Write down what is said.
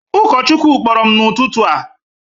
Ụkọchukwu kpọrọ m n’ụtụtụ a